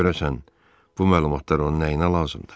Görəsən bu məlumatlar onun nəyinə lazımdır?